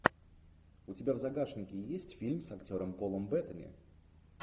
у тебя в загашнике есть фильм с актером полом беттани